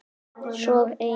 Svo ein.